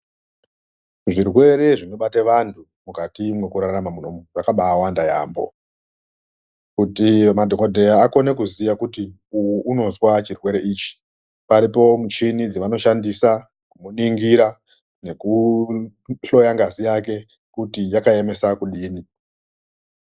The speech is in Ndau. Zvirwere zvinobate antu mukati mwekurarama muno zvakabaawanda maningi. Kuti madhokodheya akone kuziya kuti munhu anozwa chirwere chakati paripo michini yavanoshandisa kuningira nekuhloya ngazi yake kuti yakaemesa kudini.